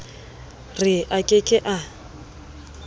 re a ke ke a